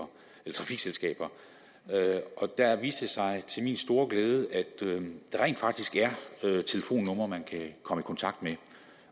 trafikselskaber og der viste det sig til min store glæde at der rent faktisk er telefonnumre man kan komme i kontakt med